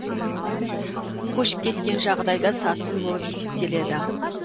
көшіп кеткен жағдайда сатқын болып есептеледі